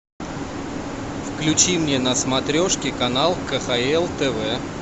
включи мне на смотрешке канал кхл тв